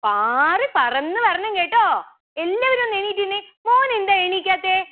പാറി പറന്നു വരണം കെട്ടോ എല്ലാവരും ഒന്ന് എണീറ്റ് നിന്നെ